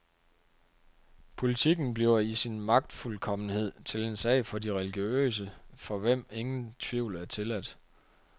Politikken bliver i sin magtfuldkommenhed til en sag for de religiøse, for hvem ingen tvivl er tilladt.